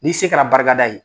N'i se kɛra barikada ye.